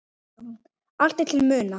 Allt er til að muna.